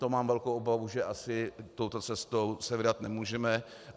To mám velkou obavu, že asi touto cestou se vydat nemůžeme.